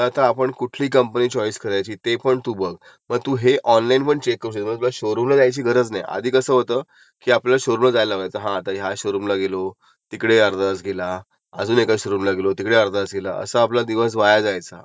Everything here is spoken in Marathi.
आता असं काही नाही. तू आता बसलिस ना गुगलवर टाकलंस ना XUV total XUV in the market in the bracket of seven to eight lakh हे तुझं ब्रॅकेट असेल तर त्याप्रमाणे तुला सगळे ऑप्शन येणार आणि तू ह्याच्यामध्ये कम्पॅरिझन करू शकते, कम्पेअर बिटविन